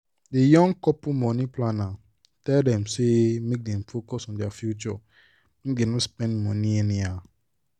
the young couple money planner tell dem say make dem focus on their future make dem no spend money anyhow.